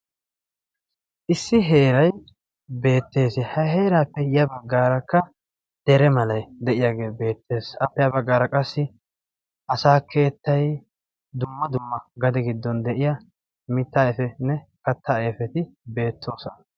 Issi heeray beettees. ha heeraappe ya baggaarakka dere malay de'iyaagee beettees. appe ha baggara qassi asaa keettay dumma dumm agade giddon de'iyaa mittaa ayfetinne kattaa ayfeti beettoosona.